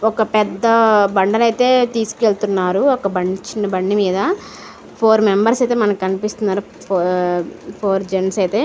ఒక పెద్ద బండను అయితే తీసుకెళ్తున్నారు. ఒకా చిన్న బండిమీద ఫోర్ మెంబర్స్ అయితే మనకి కనిపిస్తున్నారు. ఆ ఫోర్ జెన్స్ --